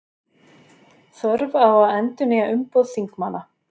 Þörf á að endurnýja umboð þingmanna